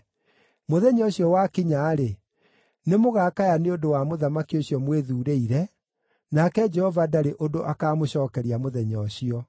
Mũthenya ũcio wakinya-rĩ, nĩmũgakaya nĩ ũndũ wa mũthamaki ũcio mwĩthuurĩire, nake Jehova ndarĩ ũndũ akaamũcookeria mũthenya ũcio.”